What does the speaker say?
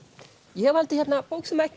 ég valdi bók sem ekki